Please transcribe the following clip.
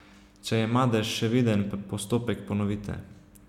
Če je madež še viden, postopek ponovite.